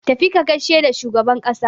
Tafi ka gaishe da shugaban ƙasa!